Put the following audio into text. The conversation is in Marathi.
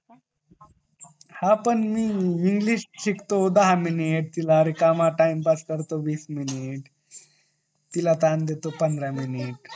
हा पण मी इंग्लिश शिकतो दहा मिनिटं टाईमपास करतो वीस मिनिटं तिला टाइम देतो पंधरा मिनिटं